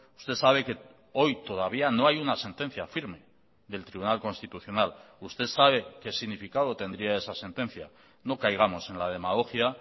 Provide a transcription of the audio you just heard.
usted sabe que hoy todavía no hay una sentencia firme del tribunal constitucional usted sabe qué significado tendría esa sentencia no caigamos en la demagogia